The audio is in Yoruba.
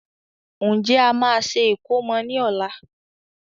Ǹjẹ́ a máa ṣe ìkómọ ni ọ̀la?